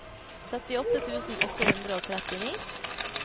syttiåtte tusen åtte hundre og trettini